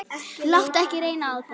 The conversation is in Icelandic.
Láttu ekki reyna á það.